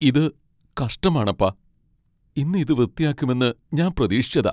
ഇത് കഷ്ടമാണപ്പാ. ഇന്ന് ഇത് വൃത്തിയാക്കുമെന്ന് ഞാൻ പ്രതീക്ഷിച്ചതാ.